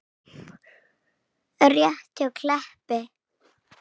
Rétt hjá Kleppi.